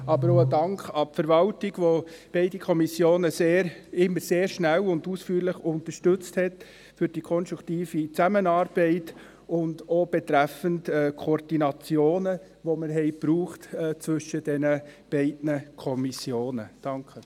Ich danke aber auch der Verwaltung, welche beide Kommissionen immer sehr schnell und ausführlich unterstützte, für die konstruktive Zusammenarbeit, auch für die Koordination, welche wir zwischen diesen beiden Kommissionen benötigten.